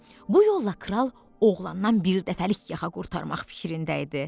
Bu yolla kral oğlandan birdəfəlik yaxa qurtarmaq fikrində idi.